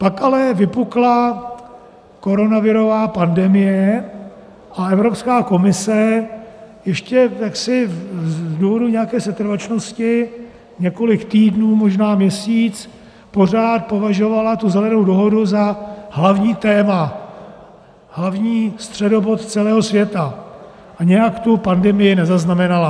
Pak ale vypukla koronavirová pandemie a Evropská komise ještě jaksi z důvodu nějaké setrvačnosti několik týdnů, možná měsíc, pořád považovala tu Zelenou dohodu za hlavní téma, hlavní středobod celého světa a nějak tu pandemii nezaznamenala.